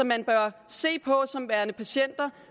man bør se på disse som værende patienter